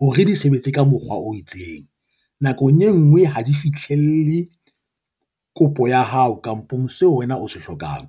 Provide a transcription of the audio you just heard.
hore di sebetse ka mokgwa o itseng nakong e ngwe ha di fihlelle, kopo ya hao kampong seo wena o se hlokang